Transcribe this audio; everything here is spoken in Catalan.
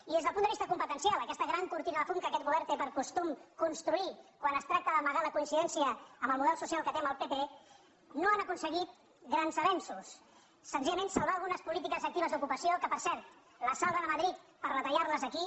i des del punt de vista competencial aquesta gran cor·tina de fum que aquest govern té per costum construir quan es tracta d’amagar la coincidència amb el mo·del social que té amb el pp no han aconseguit grans avenços senzillament salvar algunes polítiques actives d’ocupació que per cent les salven a madrid per reta·llar·les aquí